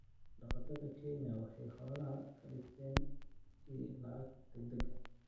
Xoolo-dhaqatada Kenya waxay xoolaha ka dhigtaan il lacag degdeg ah.